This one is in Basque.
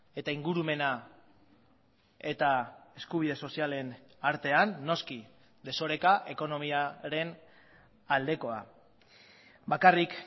eta ingurumena eta eskubide sozialen artean noski desoreka ekonomiaren aldekoa bakarrik